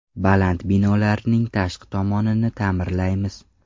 Baland binolarning tashqi tomonini ta’mirlaymiz.